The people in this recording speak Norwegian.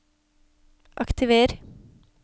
aktiver